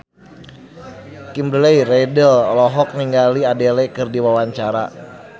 Kimberly Ryder olohok ningali Adele keur diwawancara